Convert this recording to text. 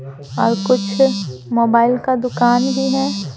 और कुछ मोबाइल का दुकान भी है।